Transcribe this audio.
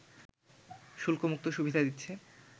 শুল্কমুক্ত সুবিধা দিচ্ছে